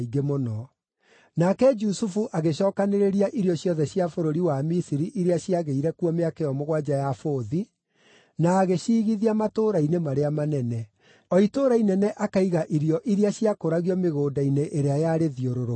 Nake Jusufu agĩcookanĩrĩria irio ciothe cia bũrũri wa Misiri iria ciagĩire kuo mĩaka ĩyo mũgwanja ya bũthi, na agĩciigithia matũũra-inĩ marĩa manene. O itũũra inene akaiga irio iria ciakũragio mĩgũnda-inĩ ĩrĩa yarĩthiũrũrũkĩirie.